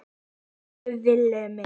Elsku Villi minn.